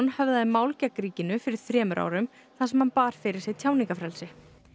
höfðaði mál gegn ríkinu fyrir þremur árum þar sem hann bar fyrir sig tjáningarfrelsi